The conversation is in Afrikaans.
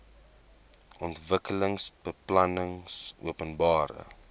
ontwikkelingsbeplanningopenbare